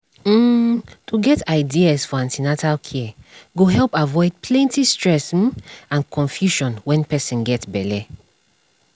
um to get ideas for an ten atal care go help avoid plenty stress um and confusion when person get belle